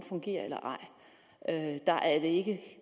fungerer eller ej der er det ikke